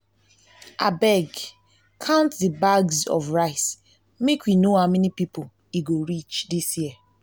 abeg count the bags of rice make we no how many people e go reach dis year